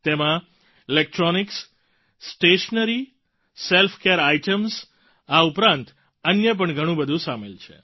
તેમાં electronics stationery self care items આ ઉપરાંત અન્ય પણ ઘણું બધું સામેલ છે